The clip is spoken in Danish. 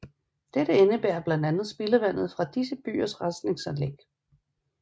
Dette indebærer blandt andet spildevandet fra disse byers rensningsanlæg